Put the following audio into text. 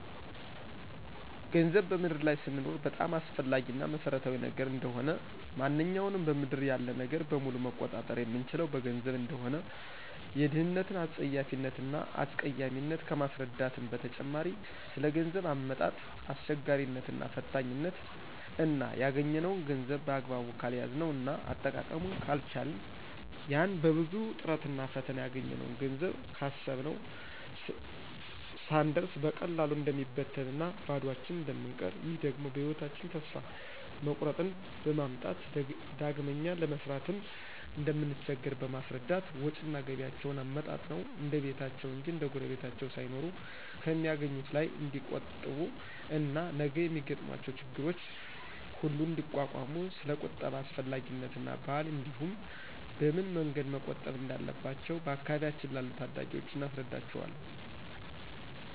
ገንዘብ በምድር ላይ ስንኖር በጣም አስፈላጊ እና መሰረታዊ ነገር እንደሆነ፣ ማንኛውንም በምድር ያለ ነገር በሙሉ መቆጣጠር የምንችለው በገንዘብ እንደሆነ፣ የድህነትን አጸያፊነት እና አስቀያሚነት ከማስረዳትም በተጨማሪ ስለገንዘብ አመጣጥ አስቸጋሪነት እና ፈታኝነት እና ያገኝነውን ገንዘብ በአግባቡ ካልያዝነው እና አጠቃቀሙን ካልቻልን ያን በብዙ ጥረትና ፈተና ያገኘነውን ገንዘብ ካሰብነው ስንደርስ በቀላሉ እንደሚበትንና ባዷችን እንደምንቀር ይህ ደግሞ በህይወታቸን ተስፋ መቁረጥን በማምጣት ዳግመኛ ለመስራትም እንደምንቸገር በማስረዳት ወጭና ገቢያቸዉን አመጣጥነው እንደቤታቸው እንጅ እንደጉረቤታቸው ሳይኖሩ ከሚአገኙት ላይ ንዲቆጥቡ እና ነገ የሚገጥሟቸው ችግሮች ሁሉ እንዲቋቋሙ ስለቁጠባ አስፈላጊነትና ባህል እንዲህም በምን መንገድ መቆጠብ እንዳለባቸው በአካባቢያችን ላሉ ታዳጊወች እናስረዳቸዋለን።